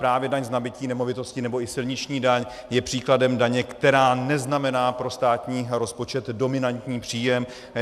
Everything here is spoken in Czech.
Právě daň z nabytí nemovitosti nebo i silniční daň je příkladem daně, která neznamená pro státní rozpočet dominantní příjem.